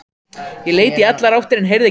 Ég leit í allar áttir en heyrði ekki neitt.